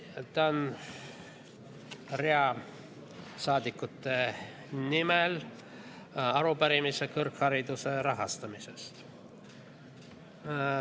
Esitan rea saadikute nimel arupärimise kõrghariduse rahastamise kohta.